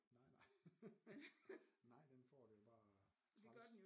Nej nej nej den får det jo bare træls